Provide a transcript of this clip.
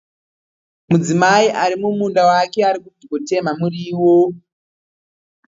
Mudzimai ari mumunda wake ari kumbotemha muriwo.